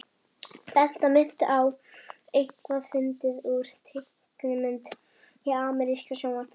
Þetta minnti á eitthvað fyndið úr teiknimynd í ameríska sjónvarpinu.